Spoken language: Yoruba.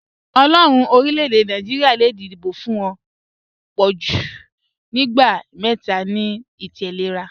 Ọlọ́ọ̀run orílẹ̀-èdè Naijiria le díbọ̀ fún ọ̀ pọ̀jú ìgbà mẹta ni ìtẹ̀lẹ́ra